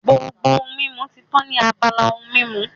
Gbogbo ohun mímu ti tán ní abala ohun mímu